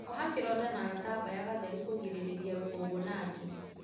Oha kĩronda na gatambaya gatheru kũgĩrĩrĩria rũkungu na ngi.